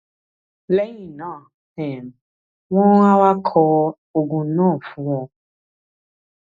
lẹ́yìn náà um wọ́n á wá kọ oògùn náà fún ọ